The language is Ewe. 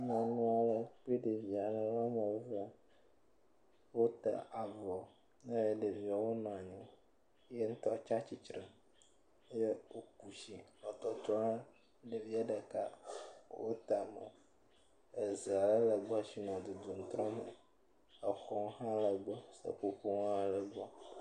Nyɔnua le kple ɖevia le woame ve wote avɔ eye ɖeviwo nɔ anyi yeŋtɔ tsatitre. Ye woku tsi nɔ tɔtrɔ ɖe ɖevie ɖeka wo tame. Eze ale le gbɔ tsi nɔ dudum trɔ me. Exɔwo hã le gbɔ. Seƒoƒowo hã le gbɔ.